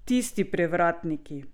Tisti prevratniki.